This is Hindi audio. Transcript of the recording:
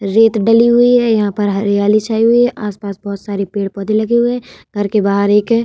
रेत डली हुई है यहाँ पर हरियाली छाई हुई है आस-पास बहुत सारे पेड़-पौधे लगे हुए हैं घर के बाहर एक --